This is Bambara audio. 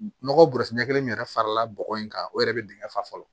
Nɔgɔ bɔrɛ kelen min yɛrɛ farala bɔgɔ in kan o yɛrɛ bɛ dingɛ fa